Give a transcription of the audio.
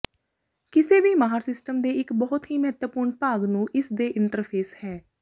ਕਿਸੇ ਵੀ ਮਾਹਰ ਸਿਸਟਮ ਦੇ ਇੱਕ ਬਹੁਤ ਹੀ ਮਹੱਤਵਪੂਰਨ ਭਾਗ ਨੂੰ ਇਸ ਦੇ ਇੰਟਰਫੇਸ ਹੈ